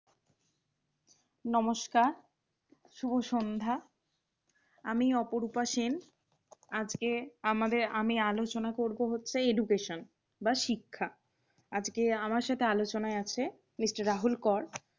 নমস্কার। শুভ সন্ধ্যা। আমি অপরুপা সেন আজকে আমি আলোচনা করব হচ্ছে education বা শিক্ষা। আজকে আমার সাথে আলচনায় আছে। MR. রাহুল কর